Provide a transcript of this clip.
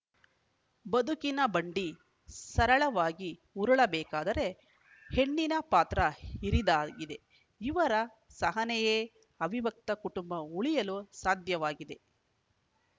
ಬದುಕಿನ ಬಂಡಿ ಸರಳವಾಗಿ ಉರಳಬೇಕಾದರೆ ಹೆಣ್ಣಿನ ಪಾತ್ರ ಹಿರಿದಾಗಿದೆ ಇವರ ಸಹನೆಯೇ ಅವಿಭಕ್ತ ಕುಟುಂಬ ಉಳಿಯಲು ಸಾಧ್ಯವಾಗಿದೆ